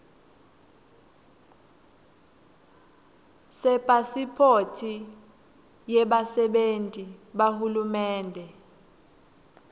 sepasiphothi yebasebenti bahulumende